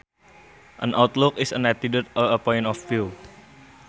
An outlook is an attitude or a point of view